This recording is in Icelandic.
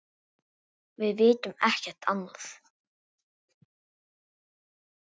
Við vitum ekkert annað.